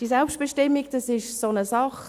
Die Selbstbestimmung ist so eine Sache.